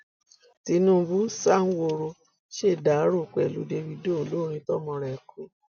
tinubu sanwóoru ṣèdàrọ pẹlú dávido olórin tọmọ rẹ kú